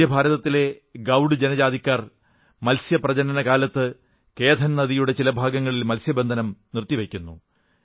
മധ്യഭാരതത്തിലെ ഗൌഡ് ജനജാതിക്കാർ മത്സ്യപ്രജനന കാലത്ത് കേഥൻ നദിയുടെ ചില ഭാഗങ്ങളിൽ മത്സ്യബന്ധനം നിർത്തി വയ്ക്കുന്നു